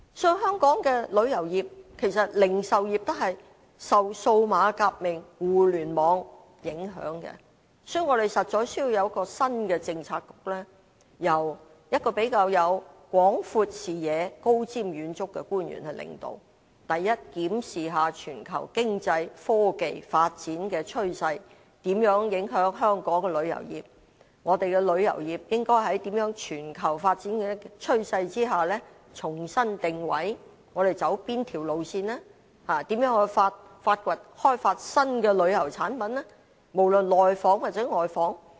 其實，旅遊業及零售業也受到數碼革命和互聯網影響，所以我們實在需要有一個新的政策局，由一位比較有廣闊視野、高瞻遠矚的官員領導，檢視全球經濟及科技發展的趨勢如何影響香港的旅遊業，我們的旅遊業應該如何在全球發展的趨勢下重新定位，應走哪條路線，應如何開發新的旅遊產品，無論內訪還是外訪。